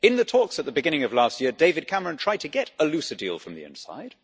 In the talks at the beginning of last year, David Cameron tried to get a looser a deal from the inside.